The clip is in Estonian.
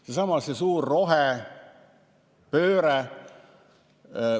See on seesama suur rohepööre.